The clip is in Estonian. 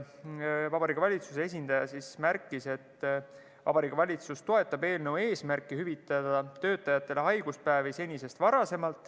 Vabariigi Valitsuse esindaja märkis, et Vabariigi Valitsus toetab eelnõu eesmärki hüvitada töötajatele haiguspäevi senisest varasemalt.